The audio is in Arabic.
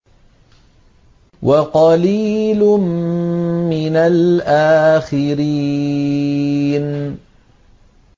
وَقَلِيلٌ مِّنَ الْآخِرِينَ